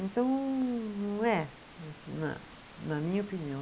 Então, não é, na na minha opinião.